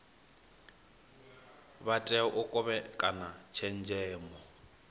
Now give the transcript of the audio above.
vha tea u kovhekana tshenzhemo